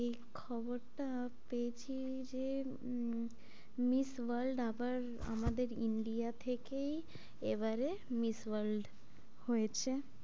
এই খবরটা পেয়েছি যে উম miss world আবার আমাদের india থেকেই এবারে miss world হয়েছে,